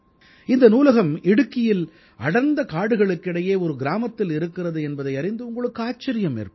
இந்த நூலகம் இடுக்கியில் அடர்ந்த காடுகளுக்கு இடையே ஒரு கிராமத்தில் இருக்கிறது என்பதை அறிந்து உங்களுக்கு ஆச்சரியம் ஏற்படும்